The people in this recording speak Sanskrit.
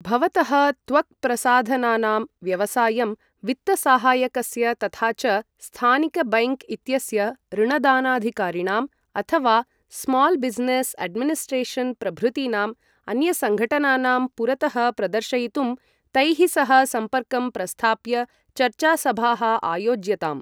भवतः त्वक्प्रसाधनानां व्यवसायं वित्तसहायकस्य तथा च स्थानिक बैङ्क् इत्यस्य ऋणदानाधिकारिणम् अथ वा स्माल् बिजनेस एडमिनिस्ट्रेशन् प्रभृतीनाम् अन्यसंघटनानां पुरतः प्रदर्शयितुं तैः सह सम्पर्कं प्रस्थाप्य चर्चासभाः आयोज्यताम्।